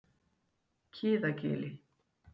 Kiðagili